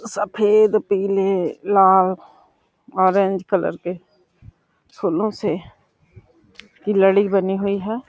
सफेद पीले लाल ऑरेंज कलर के फूलों से की लड़ी बनी हुई है।